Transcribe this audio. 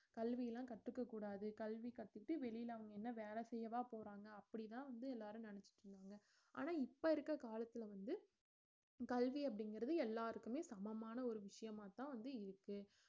கல்வி எல்லாம் கத்துக்கக்கூடாது கல்வி கத்துக்கிட்டு வெளியில அவங்க என்ன வேலை செய்யவா போறாங்க அப்படிதான் வந்து எல்லாரும் நினைச்சிட்டு இருந்தாங்க ஆனா இப்ப இருக்க காலத்துல வந்து கல்வி அப்படிங்கிறது எல்லாருக்குமே சமமான ஒரு விஷயமாத்தான் வந்து இருக்கு